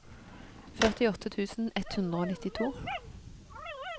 førtiåtte tusen ett hundre og nittito